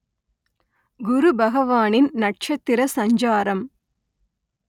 குருபகவானின் நட்சத்திர சஞ்சாரம்